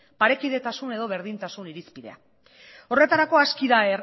parekidetasun edo berdintasun irizpidea horretarako aski da